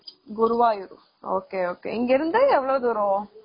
Guruvayur ok , ok இங்க இருந்து எவளோ தூரம்?